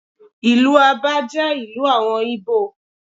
Ìlú Abá jẹ́ ìlú àwọn Ìgbò.